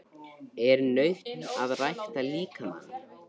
Er nautn að rækta líkamann?